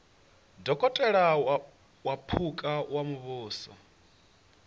dokotela wa phukha wa muvhuso